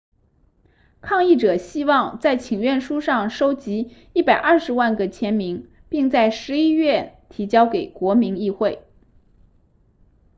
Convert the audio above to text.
抗议者希望在请愿书上收集120万个签名并在十一月提交给国民议会